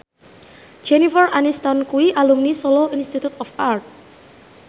Jennifer Aniston kuwi alumni Solo Institute of Art